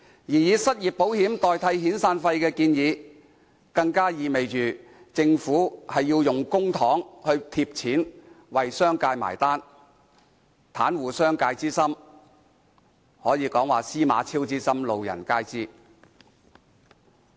至於以失業保險金代替遣散費的建議，更意味着政府有意運用公帑倒貼為商界"買單"，袒護商界之心可說是"司馬昭之心，路人皆知"。